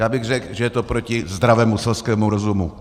Já bych řekl, že je to proti zdravému selskému rozumu.